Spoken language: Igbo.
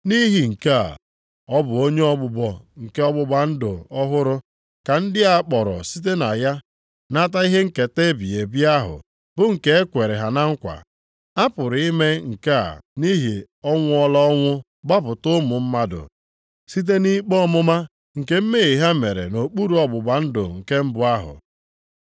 Nʼihi nke a, ọ bụ onye ogbugbo nke ọgbụgba ndụ ọhụrụ, ka ndị a kpọrọ site na ya nata ihe nketa ebighị ebi ahụ bụ nke e kwere ha na nkwa. A pụrụ ime nke a nʼihi ọ nwụọla ọnwụ gbapụta ụmụ mmadụ site nʼikpe ọmụma nke mmehie ha mere nʼokpuru ọgbụgba ndụ nke mbụ ahụ.